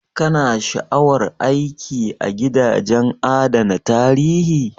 Ka na sha'awar aiki a gidajen adana tarihi?